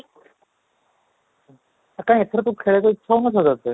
କାଇଁ ଏଥର କ'ଣ ଖେଳିବାକୁ ଇଚ୍ଛା ହଉନ ଥିଲା ତୋତେ?